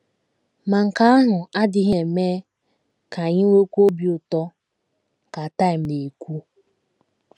“ Ma nke ahụ adịghị eme ka anyị nwekwuo obi ụtọ, ” ka Time na - ekwu.